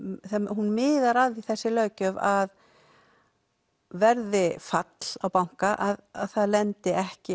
hún miðar að því þessi löggjöf af verði fall á banka að það lendi ekki